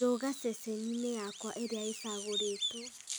rũũga ceceni-inĩ yakwa ĩrĩa ĩcagũrĩtwo